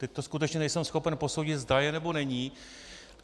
Teď to skutečně nejsem schopen posoudit, zda je, nebo není.